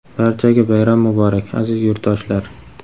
Barchaga bayram muborak, aziz yurtdoshlar!.